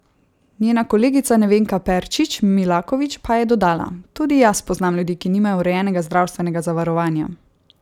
Njena kolegica Nevenka Perčič Milakovič pa je dodala: "Tudi jaz poznam ljudi, ki nimajo urejenega zdravstvenega zavarovanja.